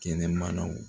Kɛnɛmanaw